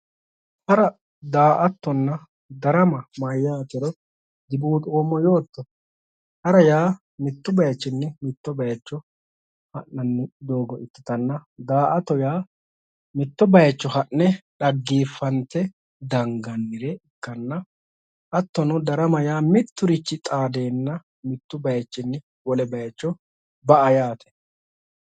Hara, daa"attonna darama mayatero dibuuxoommo yootto ,hara yaa mitu bayichinni mitto bayicho harate doogo ikkittanna daa"atto yaa mitto bayicho ha'ne dhaggeefate dangannire ikkanna hattono darama miturichi xaadenna mitu bayichinni wole bayicho ba"a yaate